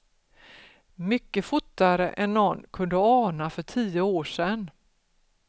Mycket fortare än någon kunde ana för tio år sedan.